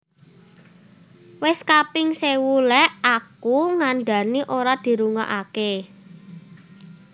Wes kaping sewu lek aku ngandhani ora dirungoake